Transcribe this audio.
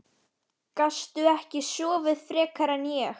Gastu ekki sofið frekar en ég?